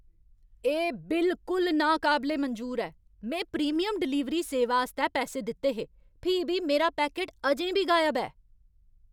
एह् बिलकुल नाकाबले मंजूर ऐ! में प्रीमियम डलीवरी सेवा आस्तै पैसे दित्ते हे, फ्ही बी मेरा पैकट अजें बी गायब ऐ!